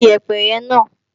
Gbé Iyẹ̀pẹ̀ náà!